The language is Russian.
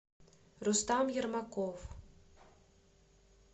рустам ермаков